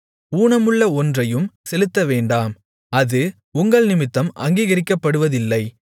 ஊனமுள்ள ஒன்றையும் செலுத்தவேண்டாம் அது உங்கள்நிமித்தம் அங்கீகரிக்கப்படுவதில்லை